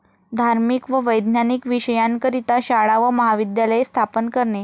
धार्मिक व वैज्ञानिक विषयांकरिता शाळा व महाविद्यालये स्थापन करणे.